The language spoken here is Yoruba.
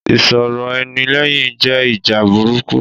Ìsọ̀rọ̀-ẹni-lẹ́yìn jẹ́ ìjà burúkú.